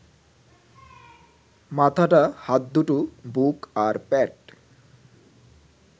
মাথাটা, হাত দুটো, বুক, আর পেট